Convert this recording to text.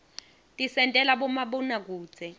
tisentela bomabonakudze